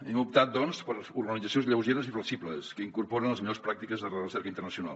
hem optat doncs per organitzacions lleugeres i flexibles que incorporen les millors pràctiques de la recerca internacional